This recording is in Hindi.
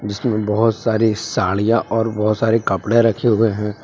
जिसमें बहुत सारी साड़ियां और बहुत सारे कपड़े रखे हुए हैं।